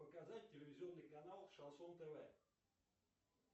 показать телевизионный канал шансон тв